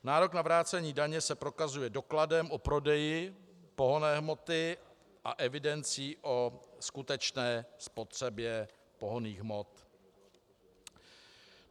Nárok na vrácení daně se prokazuje dokladem o prodeji pohonné hmoty a evidencí o skutečné spotřebě pohonných hmot.